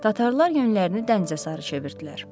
Tatarlar yönlərini dənizə sarı çevirdilər.